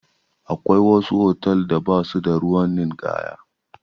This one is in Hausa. Akwai wasu hotal da ba su da ruwan ninkaya.